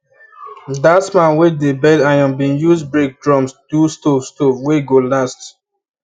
that man we dey bend iron bin use break drums do stove stove wey go last